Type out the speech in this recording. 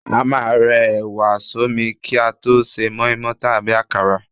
A máà ń rẹ ẹ̀wà sọ́mi ki a to se mọ́ímọ́í tàbí akara